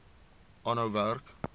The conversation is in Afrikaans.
aanhou werk